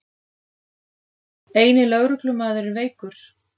Eini lögreglumaðurinn veikur